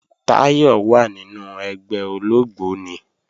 Táyọ̀ wà nínu ẹgbẹ́ ológbóni